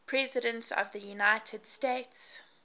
presidents of the united states